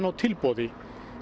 á tilboði